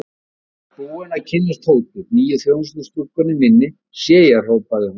Þú ert búinn að kynnast Tótu, nýju þjónustustúlkunni minni, sé ég hrópaði hún.